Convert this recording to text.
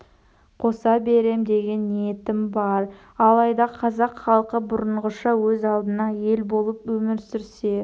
қоса берем деген ниетім бар алайда қазақ халқы бұрынғыша өз алдына ел болып өмір сүрсе